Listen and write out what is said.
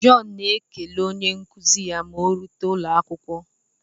John na-ekele onye nkuzi ya ma orute n'ụlọakwụkwọ.